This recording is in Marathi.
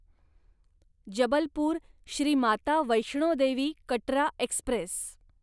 जबलपूर श्री माता वैष्णो देवी कटरा एक्स्प्रेस